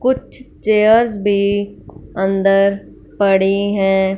कुछ चेयर्स भी अन्दर पड़ी हैं।